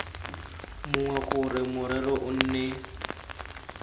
mongwe gore morero o nne